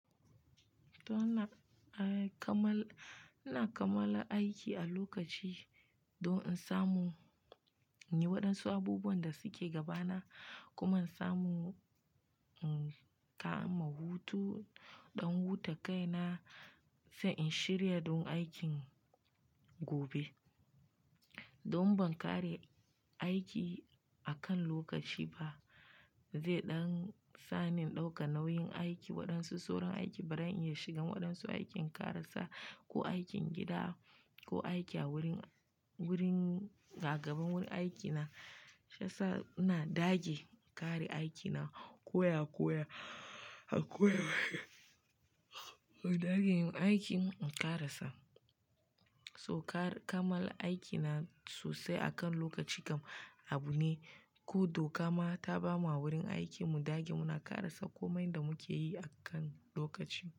To ina kamala aiki a lokaci don in samu inyi waɗansu abubuwan da suke gabana kuma in samu in kama hutu, dan huta kaina. Sai in shirya don aikin gobe. Don ban ƙare aiki akan lokaci ba, ze ɗan sani in ɗauka nauyin aiki, waɗansu sauran aiki bari in iya shigan waɗansu aikin ƙarasa ko aikin gida ko aiki a wurin, wurin gagabun wurin aiki na shasa ina dage ƙare aikina koya koya dage yin aikin in ƙarasa. So kamala aikina sosai akan lokaci kam abu ne, ko dokama ta bamu a wurin aiki mu dage muna ƙarasa komai da muke yi akan lokaci.